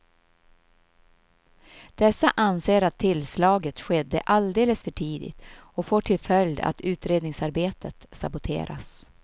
Dessa anser att tillslaget skedde alldeles för tidigt och får till följd att utredningsarbetet saboteras.